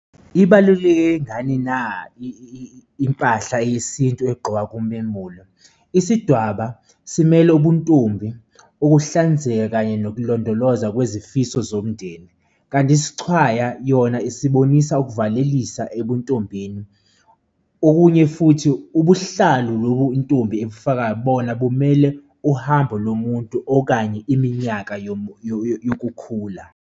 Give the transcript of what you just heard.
Ibaluleke ngani na impahla yesintu egqokwa kumemulo? Isidwaba simele ubuntombi, ukuhlanzeka kanye nokulondoloza kwezifiso zomndeni. Kanti isixhwaya yona esibonisa ukuvalelisa ebuntombini. Okunye futhi ubuhlalu lobu intombi ebufakayo bona bumele uhambo lomuntu okanye iminyaka yokukhula.